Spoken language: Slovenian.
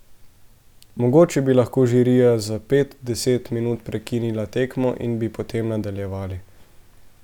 Mogoče bi lahko žirija za pet, deset minut prekinila tekmo in bi potem nadaljevali.